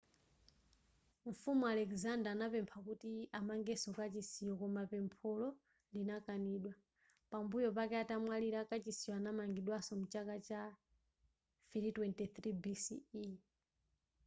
mfumu alexander anapempha kuti amangenso kachisiyo koma pempholo linakanidwa pambuyo pake atamwalira kachisiyo anamangidwanso mchaka cha 323 bce